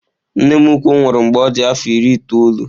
Nne m ukwu nwụrụ mgbe ọ dị afọ iri itoolu.